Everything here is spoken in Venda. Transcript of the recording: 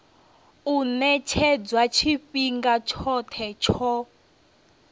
u ṅetshedzwa tshifhinga tshoṱhe tsho